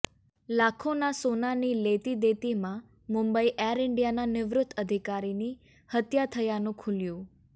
લાખોના સોનાની લેતીદેતીમાં મુંબઇ એર ઇન્ડિયાનાં નિવૃત અધિકારીની હત્યા થયાનું ખુલ્યુ